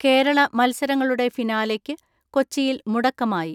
കേരള മത്സരങ്ങളുടെ ഫിനാലെക്ക് കൊച്ചിയിൽ മുടക്കമായി.